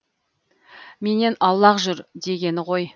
менен аулақ жүр дегені ғой